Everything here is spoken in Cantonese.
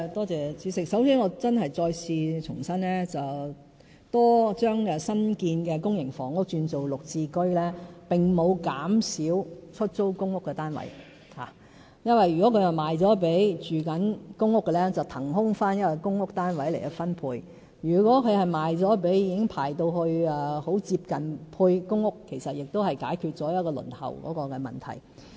主席，首先我重申，將新建公營房屋轉為"綠置居"，並沒有減少出租公屋單位數目，因為如果這些房屋是售予公屋居民，便可以騰空一個公屋單位並重新分配，如果是售予接近獲編配公屋的人士，其實亦解決了部分輪候問題。